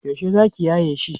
yaushe zaki yaye shi?